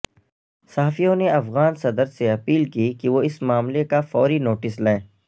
صحافیوں نے افغان صدر سے اپیل کی کہ وہ اس معاملے کا فوری نوٹس لیں